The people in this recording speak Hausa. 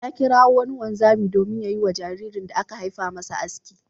Ya kirawo wani wanzami domin ya yi wa jaririn da aka haifa masa aski.